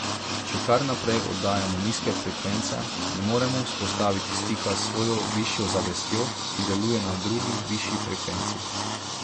Če kar naprej oddajamo nizke frekvence, ne moremo vzpostaviti stika s svojo višjo zavestjo, ki deluje na drugi, višji frekvenci.